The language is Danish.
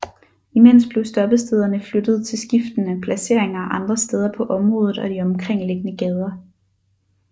Imens blev stoppestederne flyttet til skiftende placeringer andre steder på området og de omkringliggende gader